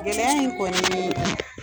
Gɛlɛya in kɔni